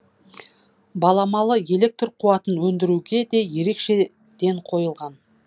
баламалы электр қуатын өндіруге де ерекше ден қойылған